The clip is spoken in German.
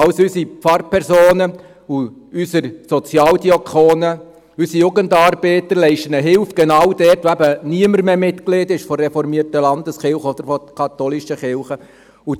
Unsere Pfarrpersonen und unsere Sozialdiakone, unsere Jugendarbeiter leisten genau dort Hilfe, wo niemand mehr Mitglied der reformierten Landeskirche oder der katholischen Kirche ist.